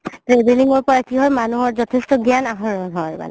travelling ৰ পাই কি হয় মানুহৰ যঠেষ্ট গ্যান আহৰণ হয় মানে